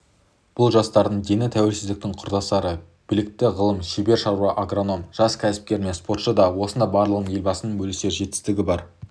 бұл жастардың дені тәуелсіздіктің құрдастары білікті ғалым шебер шаруа агроном жас кәсіпкер мен спортшы да осында барлығының елбасымен бөлісер жетістігі бар